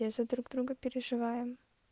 я за друг друга переживаем